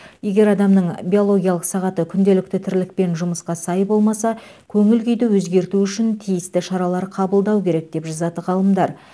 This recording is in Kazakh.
егер адамның биологиялық сағаты күнделікті тірлік пен жұмысқа сай болмаса көңіл күйді өзгерту үшін тиісті шаралар қабылдау керек деп жазады ғалымдар